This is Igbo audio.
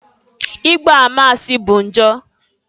Igba ama asị bu njọ.